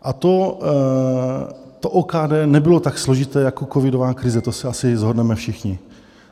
A to OKD nebylo tak složité jako covidová krize, to se asi shodneme všichni.